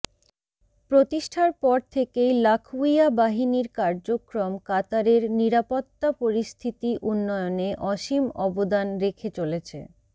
প্রতিষ্ঠার পর থেকেই লাখউইয়া বাহিনীর কার্যক্রম কাতারের নিরাপত্তা পরিস্থিতি উন্নয়নে অসীম অবদান রেখে চলেছে